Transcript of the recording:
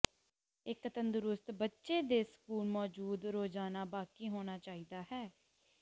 ਇੱਕ ਤੰਦਰੁਸਤ ਬੱਚੇ ਦੇ ਸਕੂਲ ਮੌਜੂਦ ਰੋਜ਼ਾਨਾ ਬਾਕੀ ਹੋਣਾ ਚਾਹੀਦਾ ਹੈ